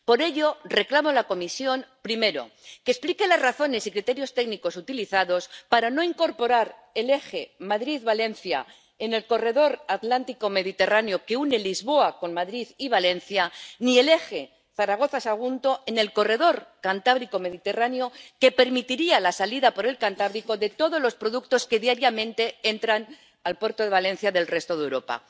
Por ello, reclamo a la Comisión, primero, que explique las razones y criterios técnicos utilizados para no incorporar el eje Madrid-Valencia en el corredor Atlántico Mediterráneo que une Lisboa con Madrid y Valencia, ni el eje Zaragoza-Sagunto en el corredor Cantábrico Mediterráneo, que permitiría la salida por el Cantábrico de todos los productos que diariamente entran al puerto de Valencia del resto de Europa.